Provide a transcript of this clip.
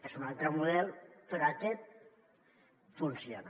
és un altre model però aquest funciona